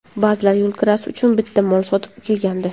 Ba’zilar yo‘l kirasi uchun bitta mol sotib kelgandi.